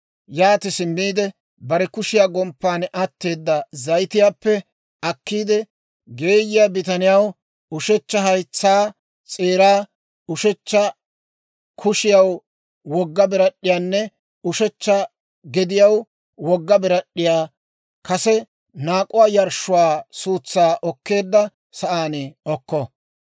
Yaati simmiide bare kushiyaa gomppan atteeda zayitiyaappe akkiide, geeyiyaa bitaniyaw ushechcha haytsaa s'eeraa, ushechcha kushiyaw wogga birad'd'iyaanne ushechcha gediyaw wogga birad'd'iyaa kase naak'uwaa yarshshuwaa suutsaa oketteedda sa'aan okko.